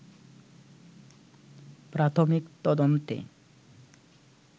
প্রাথমিক তদন্তে